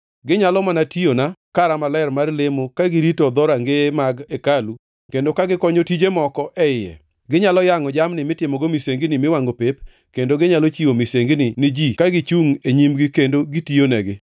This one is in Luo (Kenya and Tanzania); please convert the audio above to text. Ginyalo mana tiyona e kara maler mar lemo ka girito dhorangeye mag hekalu kendo ka gikonyo tije moko e iye; ginyalo yangʼo jamni mitimogo misengini miwangʼo pep kendo ginyalo chiwo misengini ni ji ka gichungʼ e nyimgi kendo gitiyonegi.